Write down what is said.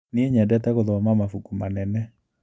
Nĩe nyendete gũthoma mabuku manene.